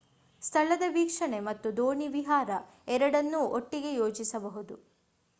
ಸ್ಥಳದ ವೀಕ್ಷಣೆ ಮತ್ತು ದೋಣಿ ವಿಹಾರ ಎರಡನ್ನೂ ಒಟ್ಟಿಗೆ ಯೋಜಿಸಬಹುದು